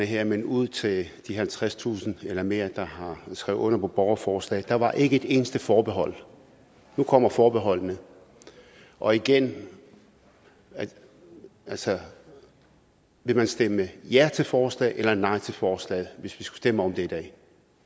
her men ud til de halvtredstusind eller mere der har skrevet under på borgerforslaget var der ikke et eneste forbehold nu kommer forbeholdene og igen altså vil man stemme ja til forslaget eller nej til forslaget hvis vi skulle stemme om det i dag